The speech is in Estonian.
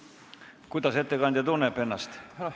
Kuidas ettekandja ennast tunneb?